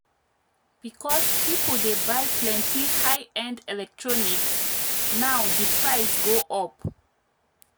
because people dey buy plenty high-end electronics now di price go up.